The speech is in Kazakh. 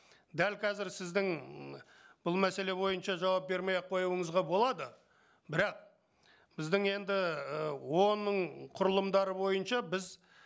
дәл қазір сіздің ммм бұл мәселе бойынша жауап бермей ақ қоюыңызға болады бірақ біздің енді ыыы оон ның құрылымдары бойынша біз